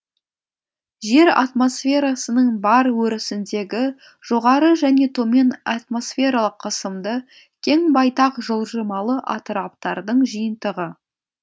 жер атмосферасының бар өрісіндегі жоғары және томен атмосфералық қысымды кең байтақ жылжымалы атыраптардың жиынтығы